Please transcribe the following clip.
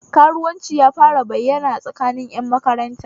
Karuwanci ya fara bayyana a tsakanin ƴan makaranta